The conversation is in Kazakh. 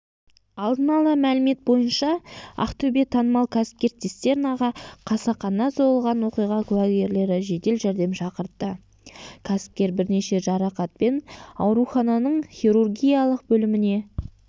алдын ала мәлімет бойынша ақтөбеге танымал кәсіпкер цистернаға қасақана соғылған оқиға куәгерлері жедел жәрдем шақыртты кәсіпкер бірнеше жарақатпен аурухананың хирургиялық бөліміне